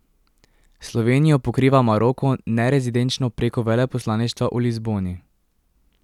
Slovenijo pokriva Maroko nerezidenčno preko veleposlaništva v Lizboni.